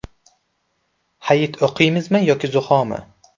Hayit o‘qiymizmi yoki zuhomi?